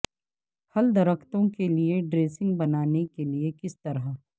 پھل درختوں کے لئے ڈریسنگ بنانے کے لئے کس طرح